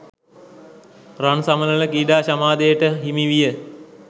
රන් සමනළ ක්‍රීඩා සමාජයට හිමි විය.